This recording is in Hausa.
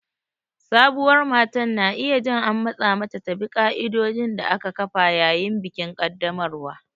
Sabuwar matar na iya jin an matsa mata ta bi ƙa'idodin da aka kafa yayin bikin ƙaddamarwa.